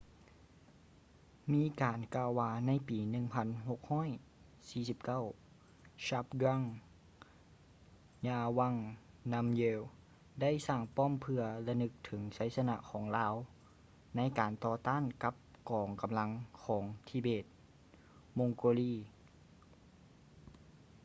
ມີການກ່າວວ່າໃນປີ 1649 zhabdrung ngawang namgyel ໄດ້ສ້າງປ້ອມເພື່ອລະນຶກເຖິງໄຊຊະນະຂອງລາວໃນການຕໍ່ຕ້ານກັບກອງກຳລັງຂອງທິເບດ - ມົງໂກລີ tibetan-mongol